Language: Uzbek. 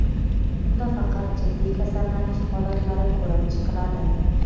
Bunda faqat jiddiy kasallanish holatlari ko‘rib chiqiladi.